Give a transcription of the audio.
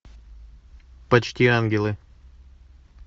почти ангелы